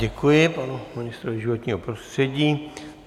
Děkuji panu ministrovi životního prostředí.